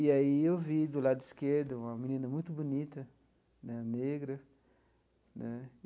E aí eu vi do lado esquerdo uma menina muito bonita né, negra né.